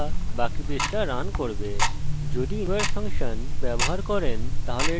যদি include function ব্যবহার করেন তাহলে এটি শেষ করে দেবে যদি এটি সম্মিলিত না হতে পারে